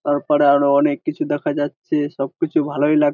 তারপরে আরও অনেক কিছু দেখা যাচ্ছে সব কিছু ভালোই লাগ--